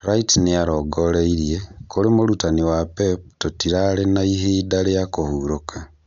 Wright nĩarongereire "Kũrĩ mũrutani wa Pep tũtirarĩ na ihinda rĩa kũhurũka"